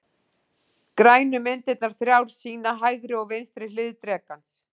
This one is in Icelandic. Grænu myndirnar þrjár sýna hægri og vinstri hlið drekans.